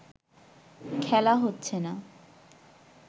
খেলা হচ্ছে না